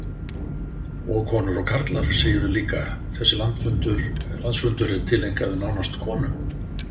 Og konur og karlar, segirðu líka, þessi landsfundur er tileinkaður nánast konum?